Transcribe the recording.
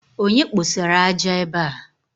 Onye kposara ájá ébé a